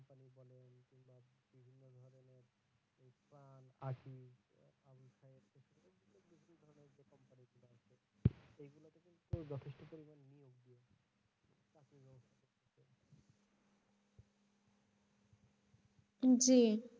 জি।